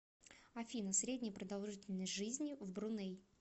афина средняя продолжительность жизни в бруней